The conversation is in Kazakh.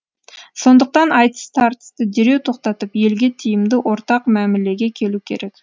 сондықтан айтыс тартысты дереу тоқтатып елге тиімді ортақ мәмілеге келу керек